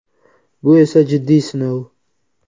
Bu esa jiddiy sinov.